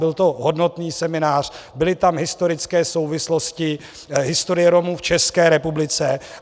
Byl to hodnotný seminář, byly tam historické souvislosti, historie Romů v České republice.